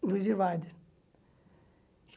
Do Easy Rider.